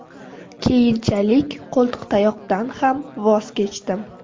Keyinchalik qo‘ltiqtayoqdan ham voz kechdim.